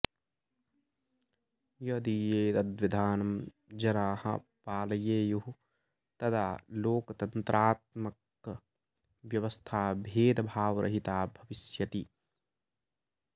यदि एतद्विधानं जनाः पालयेयुः तदा लोकतन्त्रात्मकव्यवस्था भेदभावरहिता भविष्यति